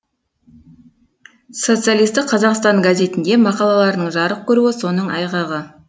социалистік қазақстан газетінде мақалаларының жарық көруі соның айғағы